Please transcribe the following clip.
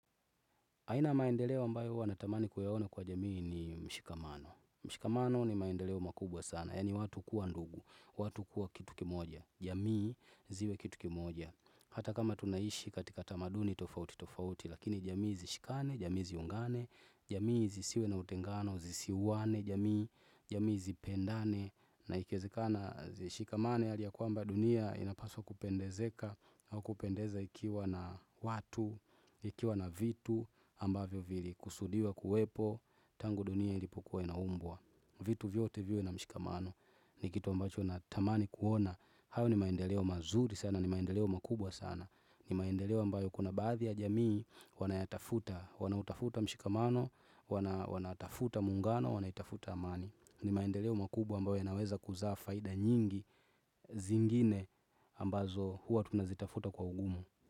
Haina maendeleo ambayo hua natamani kuyaone kwa jamii ni mshikamano. Mshikamano ni maendeleo makubwa sana. Yani watu kuwa ndugu, watu kuwa kitu kimoja. Jamii ziwe kitu kimoja. Hata kama tunaishi katika tamaduni tofauti tofauti. Lakini jamii zishikane, jamii ziungane, jamii zisiwe na utengano, zisiwane jamii, jamii zipendane. Na ikiezekana zishikamane hali ya kuamba dunia inapaswa kupendezeka. Kupendezeka au kupendeza ikiwa na watu, ikiwa na vitu ambavyo vili, kusudiwa, kuwepo, tangu dunia ilipokua inambwa. Vitu vyote vyote na mshikamano ni kitu ambacho na tamani kuona. Hou ni maendeleo mazuri sana, ni maendeleo makubwa sana. Ni maendeleo ambayo kuna baadhi ya jamii, wanayatafuta, wanautafuta mshikamano, wanatafuta mungano, wanaitafuta amani. Ni maendeleo makubwa ambayo inaweza kuzaa faida nyingi zingine ambazo huwa tunazitafuta kwa ugumu.